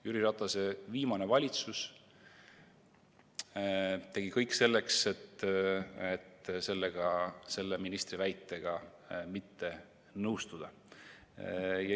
Jüri Ratase viimane valitsus tegi kõik selleks, et selle ministri väitega mitte nõustuda.